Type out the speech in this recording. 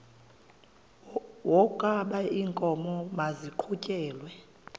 wokaba iinkomo maziqhutyelwe